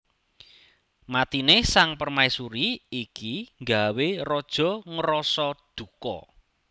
Matine Sang Permaisuri iki nggawé Raja ngrasa duka